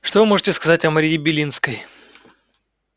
что вы можете сказать о марии белинской